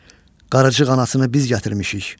Qaracı qanasını biz gətirmişik.